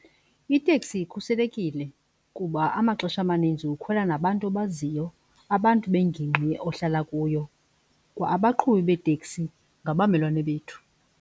Iteksi ikhuselekile kuba amaxesha amaninzi ukhwela nabantu obaziyo, abantu bengingqi ohlala kuyo. Kwa-abaqhubi beeteksi ngabamelwane bethu.